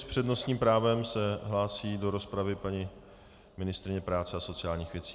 S přednostním právem se hlásí do rozpravy paní ministryně práce a sociálních věcí.